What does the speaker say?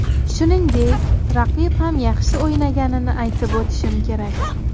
Shuningdek, raqib ham yaxshi o‘ynaganini aytib o‘tishim kerak.